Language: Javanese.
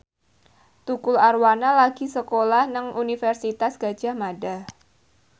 Tukul Arwana lagi sekolah nang Universitas Gadjah Mada